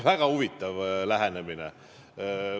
Väga huvitav lähenemine!